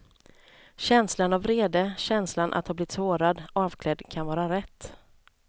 Känslan av vrede, känslan att ha blivit sårad, avklädd kan vara rätt.